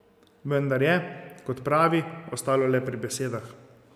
Vendar je, kot pravi, ostalo le pri besedah.